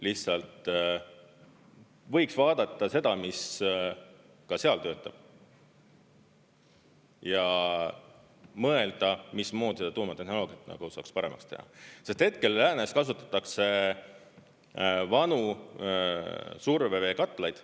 Lihtsalt võiks vaadata seda, mis ka seal töötab, ja mõelda, mismoodi seda tuumatehnoloogiat saaks paremaks teha, sest hetkel läänes kasutatakse vanu surveveekatlaid.